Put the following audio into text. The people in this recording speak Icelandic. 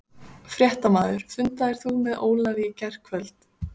Fréttamaður: Fundaðir þú með Ólafi í gærkvöld?